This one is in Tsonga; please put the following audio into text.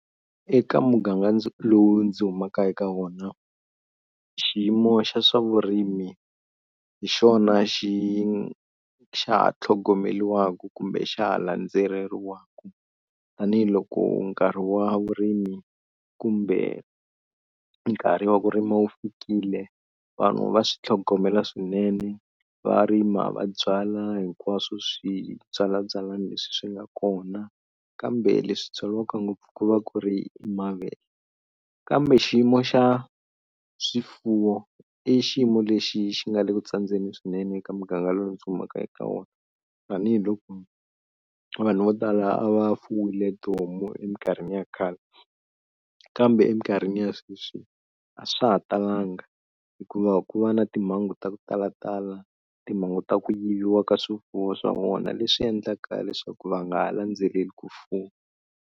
Eka muganga ndzi lowu ndzi humaka eka wona xiyimo xa swavurimi hi xona xi xa tlhogomeliwaka kumbe xa ha landzeleriwaka tanihiloko nkarhi wa vurimi kumbe nkarhi wa ku rima wu fikile vanhu va swi tlhogomela swinene, va rima, va byala hinkwaswo swi byalabyalani leswi swi nga kona. Kambe leswi byariwaka ngopfu ku va ku ri mavele. Kambe xiyimo xa swifuwo i xiyimo lexi xi nga le ku tsandzeni swinene eka muganga lowu ndzi humaka eka wona tanihiloko vanhu vo tala a va fumiwile tihomu eminkarhini ya khale kambe eminkarhini ya sweswi a swa ha talanga hikuva ku va na timhangu ta ku talatala timhangu ta ku yiviwa ka swifuwo swa vona leswi endlaka leswaku va nga landzeleli ku fuwa.